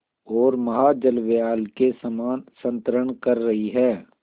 ओर महाजलव्याल के समान संतरण कर रही है